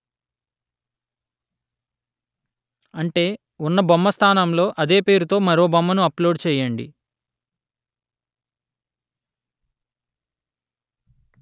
అంటే ఉన్న బొమ్మ స్థానంలో అదే పేరుతో మరో బొమ్మను అప్లోడు చెయ్యండి